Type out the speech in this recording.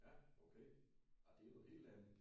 ja okay nå det er jo noget helt andet